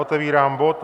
Otevírám bod